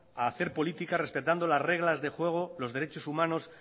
a hacer política respetando las reglas de juego los derechos humanos